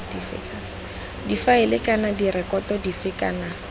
difaele kana direkoto dife kana